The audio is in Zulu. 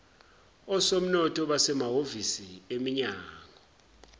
osomnotho basemahhovisi eminyango